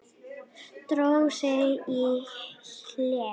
Dró sig í hlé.